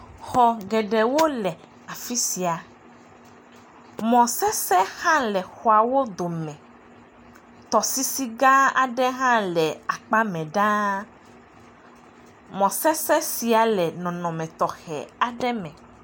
Xɔ geɖewo le afi sia, mɔsesẽ hã le xɔawo dome, tɔsisi gã aɖe hã le akpa mɛ ɖaa, mɔsesẽ sia le nɔnɔme tɔxɛ aɖe me.